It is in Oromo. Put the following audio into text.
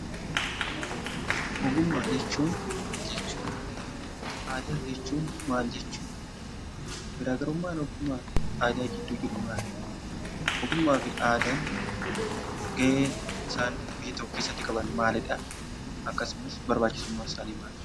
Ogummaa jechuun maal jechuu dha? Aadaa jechuun maal jechuu dha? Garaa garummaan ogummaa fi aadaa giddu jiru maali? Ogummaa fi aadaan gahee isaan biyya tokko keessatti qaban maalidha, akkasumas barbaachisummaan isaanii maali?